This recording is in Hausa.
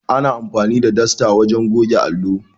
Ana amfani da dasta wajen goge allo.